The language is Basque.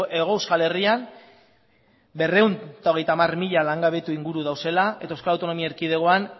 hego euskal herrian berrehun eta hogeita hamar mila langabetu inguru daudela eta euskal autonomi erkidegoan